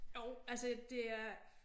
Jo altså det er